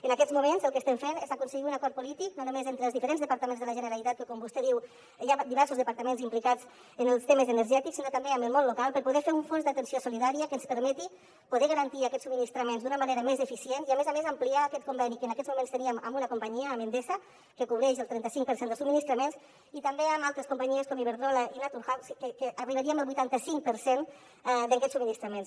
en aquests moments el que estem fent és aconseguir un acord polític no només entre els diferents departaments de la generalitat que com vostè diu hi ha diversos departaments implicats en els temes energètics sinó també amb el món local per poder fer un fons d’atenció solidària que ens permeti poder garantir aquests subministraments d’una manera més eficient i a més a més ampliar aquest conveni que en aquests moments teníem amb una companyia amb endesa que cobreix el trenta cinc per cent dels subministraments i també amb altres companyies com iberdrola i naturgy que arribaríem al vuitanta cinc per cent d’aquests subministraments